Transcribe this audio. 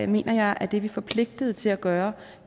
mener jeg at det er vi forpligtet til at gøre